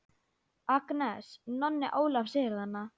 Agnes, Nonni Ólafs er þarna!